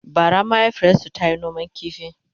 bara mahaifiyarsu tayi noman ƙifi